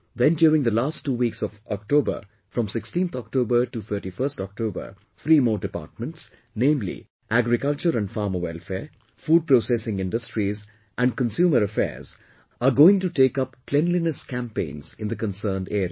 Then during last two weeks of October from 16th October to 31st October, three more departments, namely Agriculture and Farmer Welfare, Food Processing Industries and Consumer Affairs are going to take up cleanliness campaigns in the concerned areas